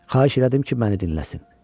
Xahiş elədim ki, məni dinləsin.